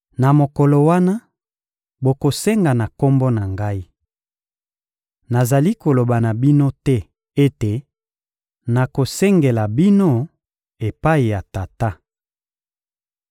Na mokolo wana, bokosenga na Kombo na Ngai. Nazali koloba na bino te ete nakosengela bino epai ya Tata.